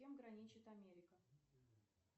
с кем граничит америка